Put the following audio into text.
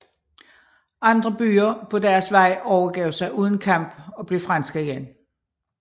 Andre byer på deres vej overgav sig uden kamp og blev franske igen